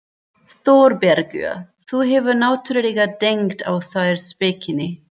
ÞÓRBERGUR: Þú hefur náttúrlega dengt á þær spekinni.